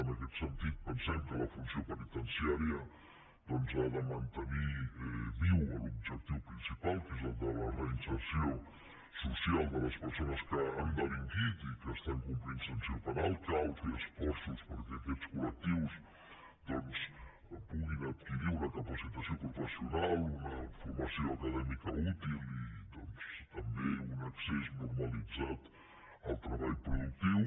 en aquest sentit pensem que la funció penitenciària doncs ha de mantenir viu l’objectiu principal que és el de la reinserció social de les persones que han delinquit i que estan complint sanció penal cal fer esforços perquè aquests col·capacitació professional una formació acadèmica útil i doncs també un accés normalitzat al treball productiu